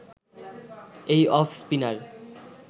এই off spinner